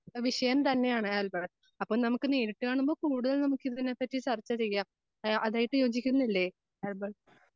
വിഷയം തന്നെയാണ് ആൽബർട്ട്. അപ്പോ നമുക്ക് നേരിട്ട് കാണുമ്പോൾ കൂടുതൽ നമുക്കിതിനെ പറ്റി ചർച്ച ചെയ്യാം. ഏഹ് അതായത് യോജിക്കുന്നില്ലേ ആൽബർട്ട്?